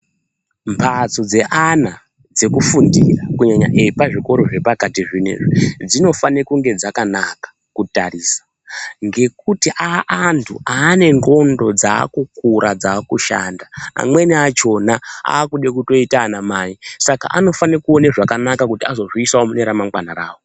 Mbatso dzeana dzekufundira kunyanya epazvikoro zvepakati zvino izvi. Dzinofane kunge dzakanaka kutarisa ngekuti aantu ane ndxondo dzakukura dzakushanda amweni achona akude kutoita anamai. Saka anofane kuona zvakanaka kuti azozviisavo mune ramangwana ravo.